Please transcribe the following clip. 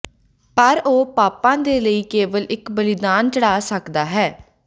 ਪਰ ਉਹ ਪਾਪਾਂ ਦੇ ਲਈ ਕੇਵਲ ਇੱਕ ਬਲੀਦਾਨ ਚੜ੍ਹਾ ਸਕਦਾ ਹੈ